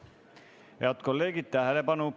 Head kolleegid, tähelepanu!